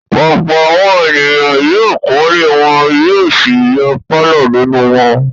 Ọ̀pọ̀ àwọn ènìyàn yóò kọ́lé wọn yóò sì yọ pálọ̀ nínú wọn.